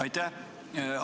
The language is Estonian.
Aitäh!